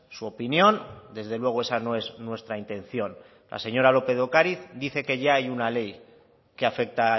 su opinión desde luego esa no es nuestra intención la señora lópez de ocariz dice que ya hay una ley que afecta